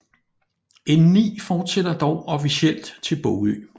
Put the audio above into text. N9 fortsætter dog officielt til Bogø